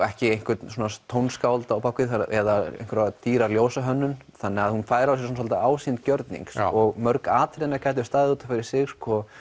ekki einhvert tónskáld á bak við eða einhverja dýra þannig að hún fær á sig ásýnd gjörnings og mörg atriðanna gætu staðið út af fyrir sig